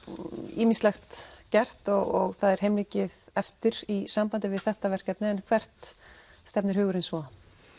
ýmislegt gert og það er heilmikið eftir í sambandi við þetta verkefni en hvert stefnir hugurinn svo